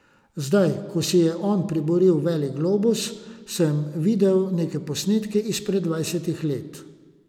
Zdaj, ko si je on priboril veliki globus, sem videl neke posnetke izpred dvajsetih let.